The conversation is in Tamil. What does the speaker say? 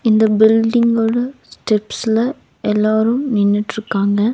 இந்த பில்டிங்கோட ஸ்டெப்ஸ்ல எல்லோரும் நின்னுட்ருக்காங்க.